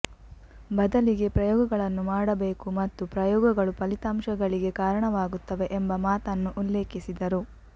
ಬದಲಿಗೆ ಪ್ರಯೋಗಗಳನ್ನು ಮಾಡಬೇಕು ಮತ್ತು ಪ್ರಯೋಗಗಳು ಫಲಿತಾಂಶಗಳಿಗೆ ಕಾರಣವಾಗುತ್ತವೆ ಎಂಬ ಮಾತನ್ನು ಉಲ್ಲೇಖಿಸಿದರು